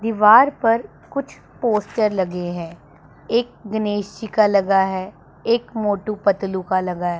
दीवार पर कुछ पोस्टर लगे हैं एक गणेश का लगा है एक मोटू पतलू का लगा है।